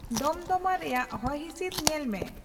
ᱫᱚᱢᱫᱚᱢᱟ ᱨᱮᱭᱟᱜ ᱦᱚᱭᱦᱤᱥᱤᱫ ᱧᱮᱞ ᱢᱮ